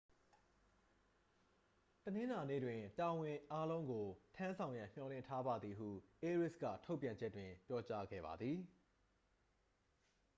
တနင်္လာနေ့တွင် တာဝန်အားလုံးကို ထမ်းဆောင်ရန်မျှော်လင့်ထားပါသည် ဟု အေရေးစ် က ထုတ်ပြန်ချက်တွင် ပြောကြားခဲ့ပါသည်